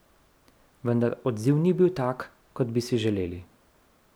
Vendar odziv ni bil tak, kot bi si želeli.